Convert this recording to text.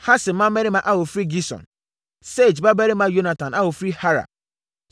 Hasem mmammarima a wɔfiri Gison; Sage babarima Yonatan a ɔfiri Harar.